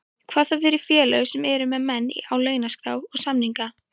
Hvað þá fyrir félög sem eru með menn á launaskrá og samninga.